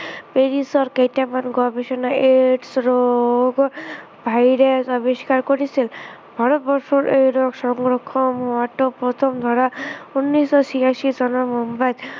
পেৰিচৰ কেইটামান গৱেষণাত AIDS ৰোগৰ virus আৱিস্কাৰ কৰিছিল। ভাৰতবৰ্ষত এই ৰোগ সংক্ৰমণ হোৱাটো প্ৰথম ধৰা উনৈচশ ছিয়াশী চনৰ মুম্বাইত।